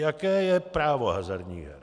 Jaké je právo hazardních her.